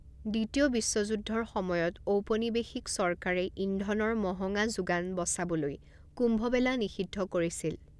দ্বিতীয় বিশ্বযুদ্ধৰ সময়ত ঔপনিৱেশিক চৰকাৰে ইন্ধনৰ মহঙা যোগান বচাবলৈ কুম্ভমেলা নিষিদ্ধ কৰিছিল।